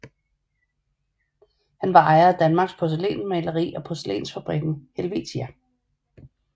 Han var ejer af Danmarks Porcelænsmaleri og Porcelænsfabrikken Helvetia